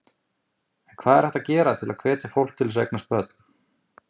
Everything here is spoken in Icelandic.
En hvað er hægt að gera til að hvetja fólk til að eignast börn?